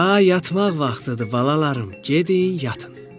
Daha yatmaq vaxtıdır, balalarım, gedin yatın.